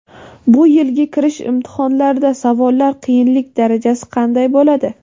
Bu yilgi kirish imtihonlarida savollar qiyinlik darajasi qanday bo‘ladi?.